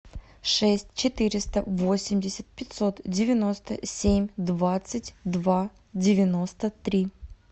шесть четыреста восемьдесят пятьсот девяносто семь двадцать два девяносто три